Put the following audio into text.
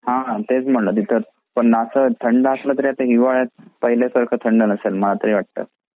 हे तेच म्हंटलं तिथे पण असा थंड असला तरी हिवाळ्यात पहिले सारखं थंड नसेल मला तरी वाटतं.